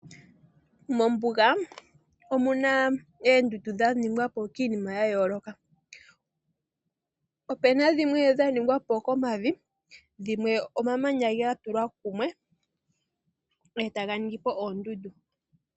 Mombuga, omuna oondundu dha ningwapo kiinima ya yooloka. Opuna dhimwe dha ningwapo komavi, dhimwe omamanya ga tulwa kumwe etaga ningipo oondundu.